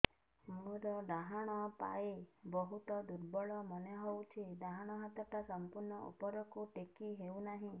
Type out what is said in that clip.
ମୋର ଡାହାଣ ପାଖ ବହୁତ ଦୁର୍ବଳ ମନେ ହେଉଛି ଡାହାଣ ହାତଟା ସମ୍ପୂର୍ଣ ଉପରକୁ ଟେକି ହେଉନାହିଁ